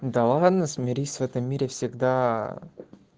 да ладно смирись в этом мире всегда